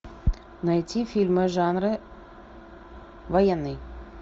найти фильмы жанра военный